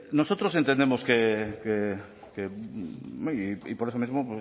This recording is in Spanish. nosotros entendemos que y por eso mismo